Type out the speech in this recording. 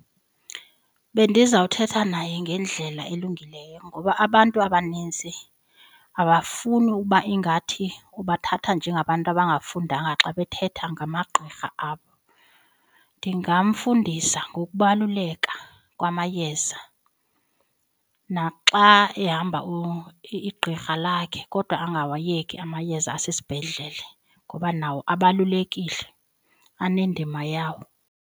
Bendizawuthetha naye ngendlela elungileyo ngoba abantu abanintsi abafuni uba ingathi ubathatha njengabantu abangafundanga xa bethetha ngamagqirha abo. Ndingamfundisa ngokubaluleka kwamayeza naxa ehamba igqirha lakhe kodwa angawayeki amayeza asesibhedlele ngoba nawo abalulekile, anendima yawo.